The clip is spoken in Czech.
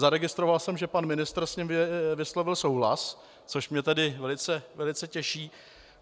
Zaregistroval jsem, že pan ministr s ním vyslovil souhlas, což mě tedy velice těší.